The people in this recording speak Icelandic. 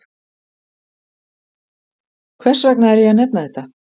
Hvers vegna er ég að nefna þetta?